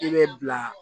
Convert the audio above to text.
I bɛ bila